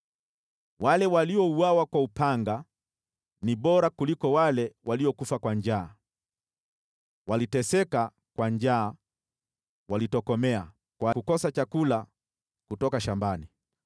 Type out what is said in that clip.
Wale waliouawa kwa upanga ni bora kuliko wale wanaokufa njaa; wanateseka kwa njaa, wanatokomea kwa kukosa chakula kutoka shambani.